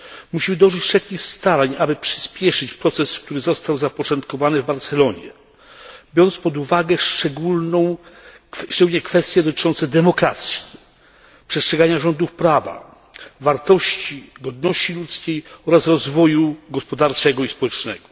Musimy dołożyć wszelkich starań, aby przyspieszyć proces, który został zapoczątkowany w Barcelonie, biorąc pod uwagę szczególnie kwestie dotyczące demokracji, przestrzegania rządów prawa, wartości, godności ludzkiej oraz rozwoju gospodarczego i społecznego.